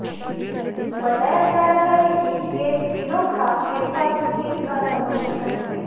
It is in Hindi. बताया जा रहा है कि ये तीनों खान इरफान की फिल्म का प्रमोशन करेंगे